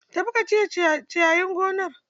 Tafi ka cire ciyayin gonar.